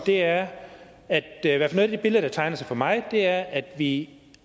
er at i hvert af de billeder der tegner sig for mig er at vi